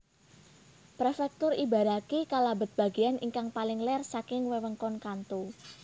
Prefektur Ibaraki kalabet bagéyan ingkang paling ler saking Wewengkon Kanto